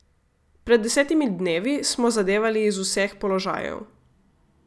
Pred desetimi dnevi smo zadevali iz vseh položajev.